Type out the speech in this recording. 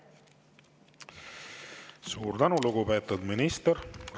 Suur tänu, lugupeetud minister!